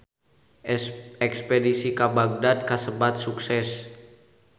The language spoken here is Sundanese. Espedisi ka Bagdad kasebat sukses